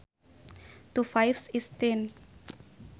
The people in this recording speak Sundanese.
Two fives is ten